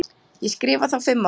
Ég skrifa þá fimm ár.